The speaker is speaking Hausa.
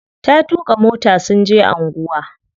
Ta tuƙa mota sun je anguwa.